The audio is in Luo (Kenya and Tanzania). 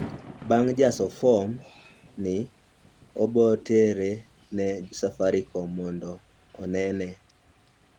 bang jaso fom ni obotere ne safaricom mondo mondo onene